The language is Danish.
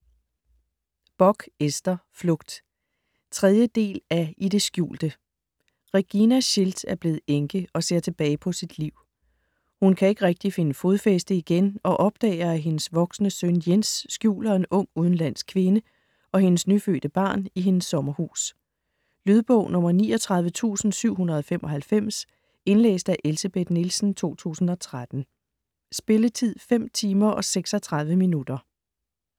Bock, Ester: Flugt 3. del af I det skjulte. Regina Schildt er blevet enke og ser tilbage på sit liv. Hun kan ikke rigtig finde fodfæste igen og opdager, at hendes voksne søn Jens skjuler en ung udenlandsk kvinde og hendes nyfødte barn i hendes sommerhus. Lydbog 39795 Indlæst af Elsebeth Nielsen, 2013. Spilletid: 5 timer, 36 minutter.